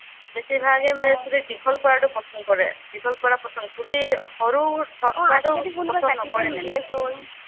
বেছিভাগেই মানে চুলি দীঘল কৰা পচন্দ কৰে। চুলি দীঘল কৰা পচন্দ কৰে চুলি সৰু কৰাটো পচন্দ নকৰে মানে।